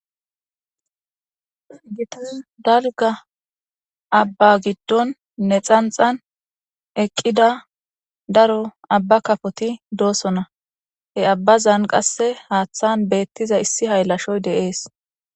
gitas dalga abba giddon ne xanxan eqqida daro abba kafoti doosonna he abbazan qasse haaththan beettiza issi haylashoy deees